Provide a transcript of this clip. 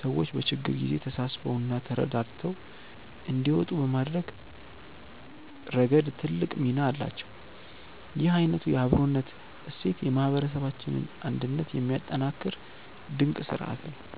ሰዎች በችግር ጊዜ ተሳስበውና ተረዳድተው እንዲወጡ በማድረግ ረገድ ትልቅ ሚና አላቸው። ይህ አይነቱ የአብሮነት እሴት የማህበረሰባችንን አንድነት የሚያጠናክር ድንቅ ስርአት ነው።